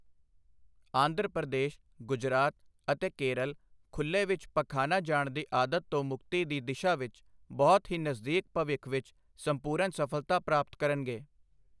ਆਂਧਰਾ ਪ੍ਰਦੇਸ਼, ਗੁਜਰਾਤ ਅਤੇ ਕੇਰਲ ਖੁੱਲ੍ਹੇ ਵਿੱਚ ਪਖਾਨਾ ਜਾਣ ਦੀ ਆਦਤ ਤੋਂ ਮੁਕਤੀ ਦੀ ਦਿਸ਼ਾ ਵਿੱਚ ਬਹੁਤ ਹੀ ਨਜ਼ਦੀਕ ਭਵਿੱਖ ਵਿੱਚ ਸੰਪੂਰਨ ਸਫ਼ਲਤਾ ਪ੍ਰਾਪਤ ਕਰਨਗੇ।